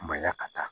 Manɲa ka taa